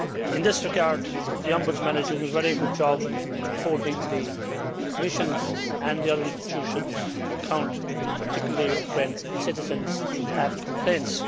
In this regard, the Ombudsman is doing a very good job in holding the Commission and the other institutions to account, particularly when citizens have complaints.